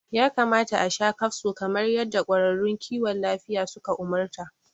Ya kamata asha kafso kamar yadda ƙwararrun kiwon lafiya suka umarta